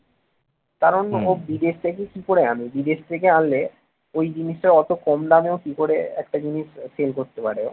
কারণ ও বিদেশ থেকে কি করে আনে বিদেশ থেকে আনলে ওই জিনিসটা অত কম দামে কি করে একটা জিনিস sell করতে পারে ও